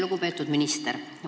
Lugupeetud minister!